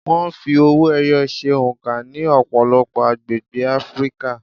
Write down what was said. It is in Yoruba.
Wọ́n fi owó-ẹyọ ṣe oǹkà ní ọ̀pọ̀lọpọ̀ agbègbè Áfríkà.